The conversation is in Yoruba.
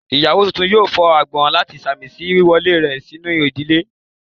Iyawo tuntun yóò fó agbon lati sámísi wiwọle rẹ sinu ìdílé.